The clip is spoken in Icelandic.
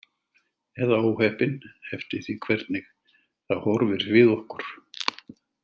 Eða óheppin, eftir því hvernig það horfir við okkur.